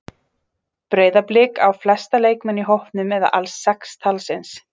Breiðablik á flesta leikmenn í hópnum eða alls sex talsins.